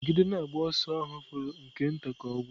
Nọgide na-agba ọsọ ahụ fọrọ nke nta ka ọ gwụ!